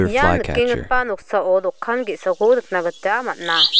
ia nikenggipa noksao dokan ge·sako nikna gita man·a.